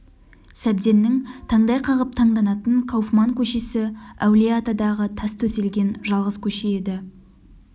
сәбденнің таңдай қағып таңданатын кауфман көшесі әулие-атадағы тас төселген жалғыз көше еді